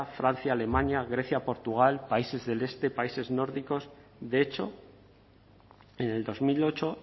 francia alemania grecia portugal países del este países nórdicos de hecho en el dos mil ocho